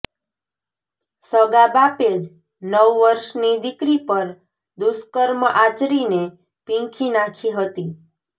સગા બાપે જ નવ વર્ષની દીકરી પર દુષ્કર્મ આચરીને પીંખી નાખી હતી